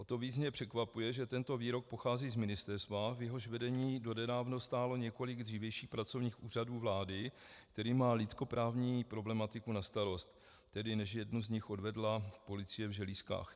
O to víc mě překvapuje, že tento výrok pochází z ministerstva, v jehož vedení donedávna stálo několik dřívějších pracovnic Úřadu vlády, který má lidskoprávní problematiku na starosti, tedy než jednu z nich odvedla policie v želízkách.